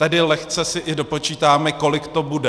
Tedy lehce si i dopočítáme, kolik to bude.